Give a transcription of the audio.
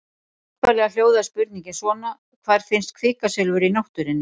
Upphaflega hljóðaði spurningin svona: Hvar finnst kvikasilfur í náttúrunni?